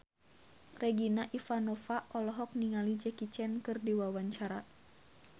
Regina Ivanova olohok ningali Jackie Chan keur diwawancara